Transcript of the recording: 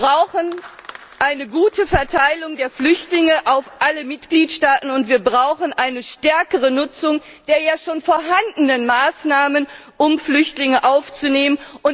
Wir brauchen eine gute Verteilung der Flüchtlinge auf alle Mitgliedstaaten, und wir brauchen eine stärkere Nutzung der ja schon vorhandenen Maßnahmen, um Flüchtlinge aufzunehmen.